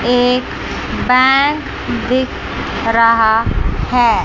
एक बैंक दिख रहा है।